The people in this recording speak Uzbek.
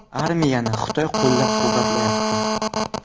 Armiyani Xitoy qo‘llab-quvvatlayapti.